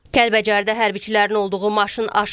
Kəlbəcərdə hərbiçilərin olduğu maşın aşıb.